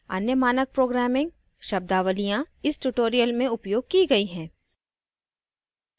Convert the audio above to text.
अन्य मानक programming शब्दावलियाँ इस tutorial में उपयोग की गई है